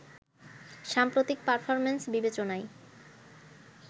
সাম্প্রতিক পারফরমেন্স বিবেচনায়